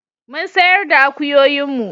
Mun sayar da akuyoyin mu